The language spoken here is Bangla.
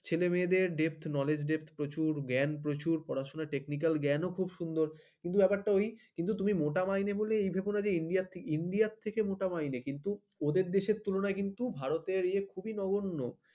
ছেলেমেয়েদের depth knowledge depth প্রচুর জ্ঞান প্রচুর পড়াশোনা technical জ্ঞানও খুব সুন্দর কিন্তু ব্যাপারটা ওই তুমি মোটা মাইনে বললে ভেবো না যে india থেকে মোটা মাইনে কিন্তু ওদের দেশের তুলনায় কিন্তু ভারতের এ খুবই নগণ্য